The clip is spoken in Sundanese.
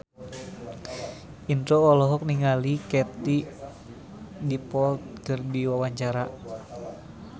Indro olohok ningali Katie Dippold keur diwawancara